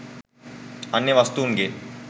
අන්‍ය වස්තූන් ගේ